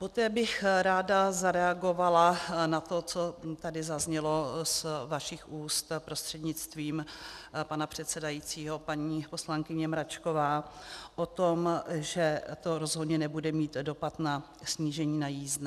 Poté bych ráda zareagovala na to, co tady zaznělo z vašich úst, prostřednictvím pana předsedajícího paní poslankyně Mračková, o tom, že to rozhodně nebude mít dopad na snížení na jízdné.